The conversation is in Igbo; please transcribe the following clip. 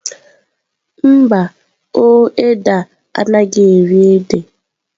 Mba, o édè a anaghị eri ede.